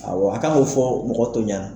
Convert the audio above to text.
Awɔ a' kan ŋ'o fɔ mɔgɔ tɔw ɲana.